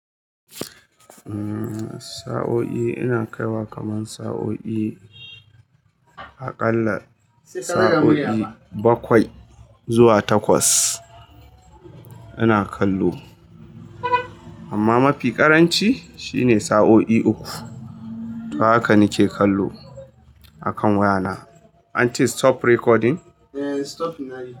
Umm sa'o'i ina kaiwa kaman sa'o'i, aƙalla sa'o'i bakwai zuwa takwas ina kallo. Amma mafi ƙaranci shine sa'o'i uku. To haka nike kallo akan wayana. An ce stop recording? Eh, stop now.